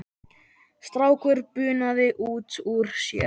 Strákur bunaði út úr sér